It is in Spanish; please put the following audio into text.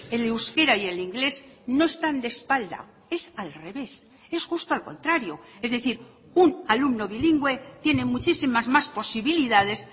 el euskera y el inglés no están de espalda es al revés es justo al contrario es decir un alumno bilingüe tiene muchísimas más posibilidades